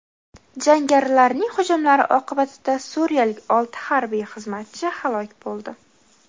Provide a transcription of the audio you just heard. Jangarilarning hujumlari oqibatida suriyalik olti harbiy xizmatchi halok bo‘ldi.